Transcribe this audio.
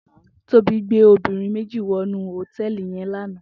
Tobi gbé óbirìn méji wònú hótèlí yèn làná